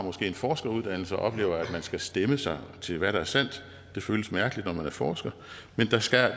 en forskeruddannelse og oplever at man skal stemme sig til hvad der er sandt det føles mærkeligt når man er forsker men det skal